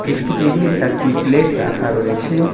একটি টেবিলে চারটি প্লেট রাখা রয়েছে।